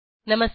नमस्कार